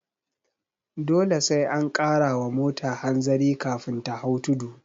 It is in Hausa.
Dole sai an kara wa mota hanzari kafin ta hau tudu